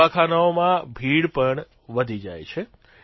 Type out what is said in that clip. દવાખાનાઓમાં ભીડ પણ વધી જાય છે